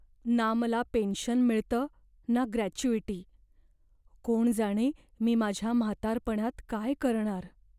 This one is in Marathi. ना मला पेन्शन मिळतं ना ग्रॅच्युइटी, कोण जाणे मी माझ्या म्हातारपणात काय करणार.